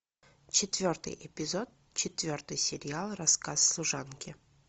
четвертый эпизод четвертый сериал рассказ служанки